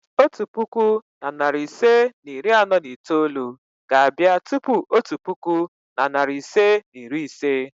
otu puku na narị ise na iri anọ na itoolu ga-abịa tupu otu puku na narị ise na iri ise.